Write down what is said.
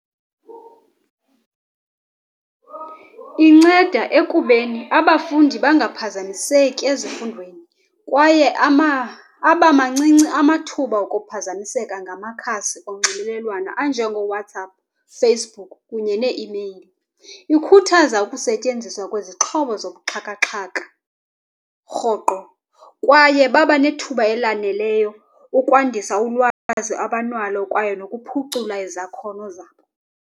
Inceda ekubeni abafundi bangaphazamiseki ezifundweni, kwaye abamancinci amathuba okuphazamiseka ngamakhasi onxibelelwano anjengooWhatsapp, Facebook kunye nee-email. Ikhuthaza ukusentyenziswa kwezixhobo zobuxhakaxhaka, rhoqo kwaye babanethuba elaneleyo ukwandisa ulwazi abanalo kwaye nokuphucula izakhono zabo.